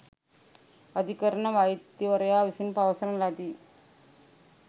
අධිකරණ වෛද්‍යවරයා විසින් පවසන ලදී